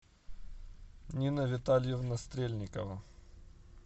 нина витальевна стрельникова